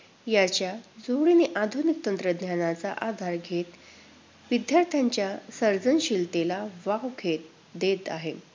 याच्याजोडीने आधुनिक तंत्रज्ञानाचा आधार घेत, विद्यार्थ्यांच्या सर्जनशीलतेला वाव घेत देत आहे.